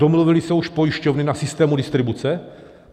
Domluvily se už pojišťovny na systému distribuce?